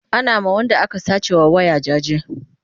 Ana ma Wanda aka sace wa waya jaje